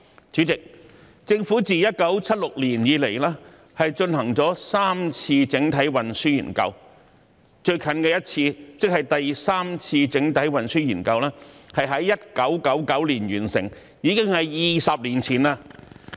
主席，政府自1976年以來，進行了3次整體運輸研究，最近的一次，即第三次整體運輸研究，是在1999年完成，已經是20年前。